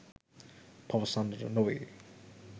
පවසන්නට නොවේ.